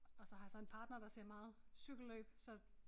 Og så har jeg så en partner der ser meget cykelløb så